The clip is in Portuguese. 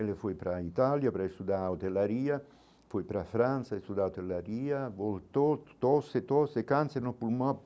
Ele foi para a Itália para estudar hotelaria, foi para a França estudar hotelaria, voltou, tosse, tosse, câncer no pulmão.